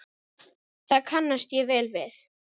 Það kannast ég vel við.